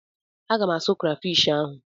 M ga-asụ krafish ahụ.